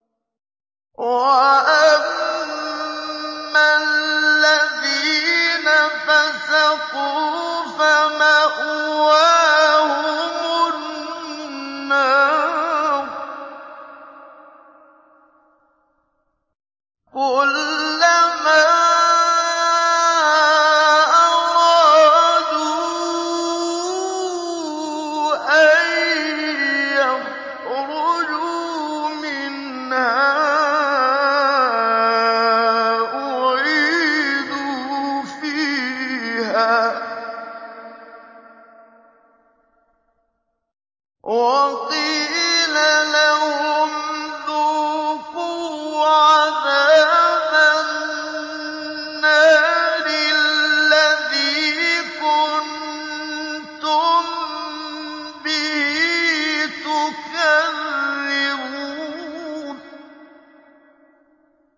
وَأَمَّا الَّذِينَ فَسَقُوا فَمَأْوَاهُمُ النَّارُ ۖ كُلَّمَا أَرَادُوا أَن يَخْرُجُوا مِنْهَا أُعِيدُوا فِيهَا وَقِيلَ لَهُمْ ذُوقُوا عَذَابَ النَّارِ الَّذِي كُنتُم بِهِ تُكَذِّبُونَ